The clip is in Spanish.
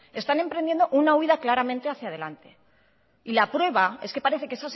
están emprendiendo una huída claramente hacía delante y la prueba es que parece que